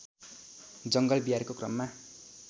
जङ्गल बिहारको क्रममा